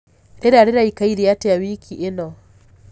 rĩera riraikare atĩa wiki ĩnõ